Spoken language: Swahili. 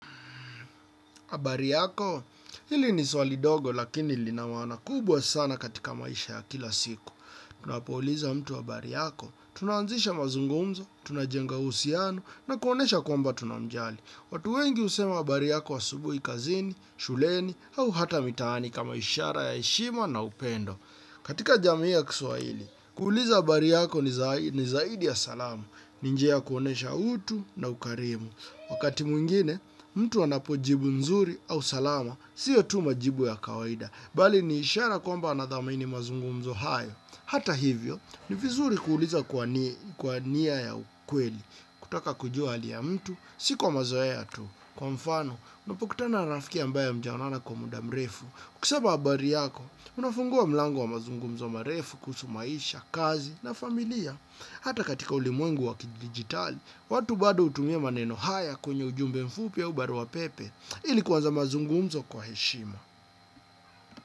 Habari yako? Hili ni swali dogo lakini lina maana kubwa sana katika maisha ya kila siku. Tunapouliza mtu habari yako, tunaanzisha mazungumzo, tunajenga uhusiano na kuonyesha kwamba tunamjali. Watu wengi husema habari yako asubuhi kazini, shuleni au hata mitaani kama ishara ya heshima na upendo. Katika jamii ya kiswahili, kuuliza habari yako ni zaidi ya salamu, ni njia ya kuonyesha utu na ukarimu. Wakati mwingine, mtu anapojibu nzuri au salama, sio tu majibu ya kawaida, bali ni ishara kwamba anathamini mazungumzo hayo. Hata hivyo, ni vizuri kuuliza kwa nia ya ukweli, kutaka kujua hali ya mtu, si kwa mazoea tu. Kwa mfano, unapokutana na rafiki ambaye hamjaonana kwa muda mrefu, kusema habari yako, unafungua mlango wa mazungumzo marefu, kuhusu maisha, kazi na familia. Hata katika ulimwengu wa kidigitali, watu bado hutumia maneno haya kwenye ujumbe mfupi au baruapepe ili kuanza mazungumzo kwa heshima.